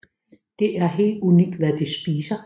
Det er helt ukendt hvad de spiser